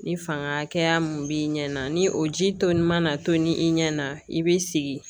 Ni fanga min b'i ɲɛ na ni o ji toli mana tobi i ɲɛna i bɛ sigi